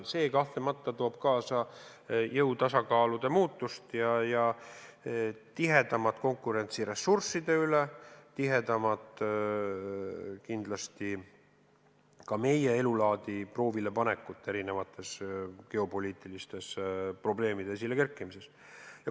See kahtlemata toob kaasa jõu tasakaalude muutusi ja tihedamat konkurentsi ressursside valdamisel ning kindlasti ka meie elulaadi tõelist proovilepanekut, kui kerkivad esile erinevad geopoliitilised probleemid.